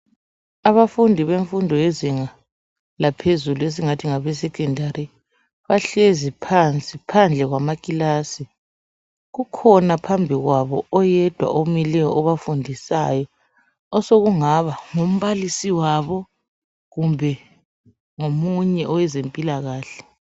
Abafundi bemfundo yezinga laphezulu esingathi ngabe secondary bahlezi phansi phambi kwamakilasi. Kukhona phambi kwabo oyedwa omileyo obafundisayo osokungaba ngumbalisi wabo kumbe ngomunye owezempilakahle.